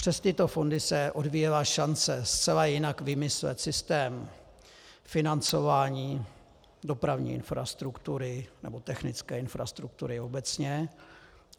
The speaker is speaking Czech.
Přes tyto fondy se odvíjela šance zcela jinak vymyslet systém financování dopravní infrastruktury nebo technické infrastruktury obecně.